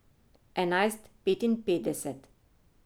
Enajst petinpetdeset.